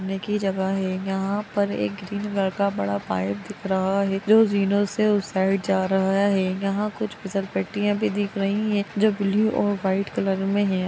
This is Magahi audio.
घूमने की जगह है यहाँ पर एक ग्रीन कलर का पाइप दिख रहा है जो जिनो से उस साइड जा रहा है यहाँ कुछ फिसलपट्टियाँ भी दिख रही हैं जो ब्लू और वाइट कलर में है